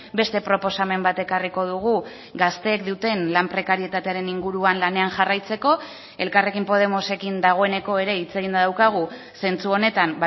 beste proposamen bat ekarriko dugu gazteek duten lan prekarietatearen inguruan lanean jarraitzeko elkarrekin podemosekin dagoeneko ere hitz eginda daukagu zentzu honetan